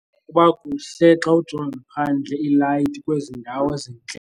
Kuba kuhle xa ujonga phandle iilayiti kwezi ndawo zintle.